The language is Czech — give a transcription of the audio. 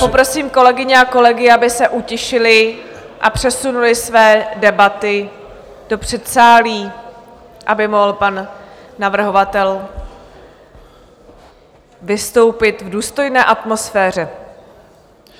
Poprosím kolegyně a kolegy, aby se utišili a přesunuli své debaty do předsálí, aby mohl pan navrhovatel vystoupit v důstojné atmosféře.